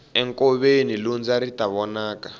enkoveni lundza ri ta vonaka